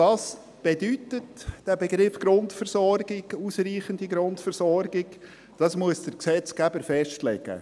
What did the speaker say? Was dieser Begriff der Grundversorgung bedeutet, der ausreichenden Grundversorgung, das muss der Gesetzgeber festlegen.